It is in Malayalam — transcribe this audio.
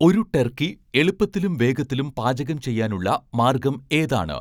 ഒരു ടർക്കി എളുപ്പത്തിലും വേഗത്തിലും പാചകം ചെയ്യാൻ ഉള്ള മാർഗ്ഗം ഏതാണ്